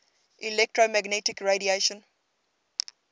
electromagnetic radiation